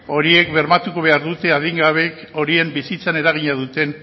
horiek bermatu behar dute adingabeek horien bizitzan eragina duten